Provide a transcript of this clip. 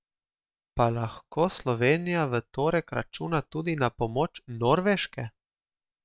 Pa lahko Slovenija v torek računa tudi na pomoč Norveške?